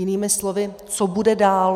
Jinými slovy, co bude dál.